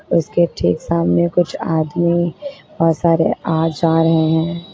उसके ठीक सामने कुछ आदमी बहुत सारे आ जा रहे है।